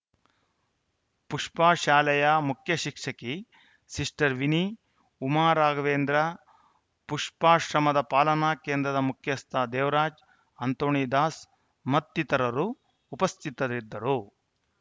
ಪುಷ್ಪಾ ಶಾಲೆಯ ಮುಖ್ಯ ಶಿಕ್ಷಕಿ ಸಿಸ್ಟರ್‌ ವಿನಿ ಉಮಾ ರಾಘವೇಂದ್ರ ಪುಷ್ಪಾಶ್ರಮದ ಪಾಲನಾ ಕೇಂದ್ರದ ಮುಖ್ಯಸ್ಥ ದೇವರಾಜ್‌ ಆಂತೋಣಿದಾಸ್‌ ಮತ್ತಿತರರು ಉಪಸ್ಥಿತರಿದ್ದರು